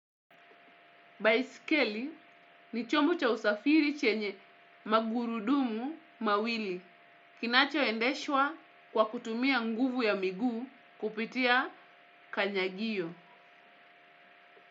Baiskeli ni chombo cha usafiri chenye magurudumu mawili. Kinachoendeshwa kwa kutumia nguvu ya miguu kupitia kanyagio.